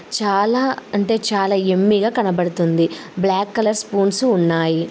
చాలా అంటే చాలా యమ్మీగా కనబడుతుంది. బ్లాక్ కలర్ స్పూన్స్ ఉన్నాయి.